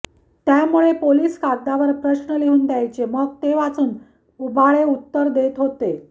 त्यामुळे पोलीस कागदावर प्रश्न लिहून द्यायचे मग ते वाचून उबाळे उत्तर देत होते